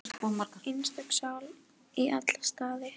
Einstök sál í alla staði.